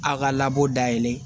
A ka labɔ da yɛlɛ